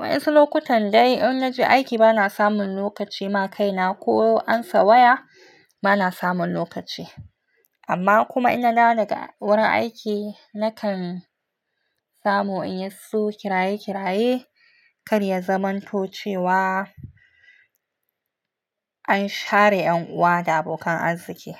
Wasu lokutan dai in na je aiki bana samun lokaci na kai na ko amsa waya bana samun lokaci. Amma kuma in na dawo daga wurin aiki, na kan samu in yi su kiraye kiraye kan ya zamanto cewa an share 'yan uwa da abokan arziki.